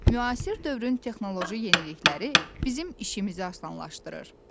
Müasir dövrün texnoloji yenilikləri bizim işimizi asanlaşdırır.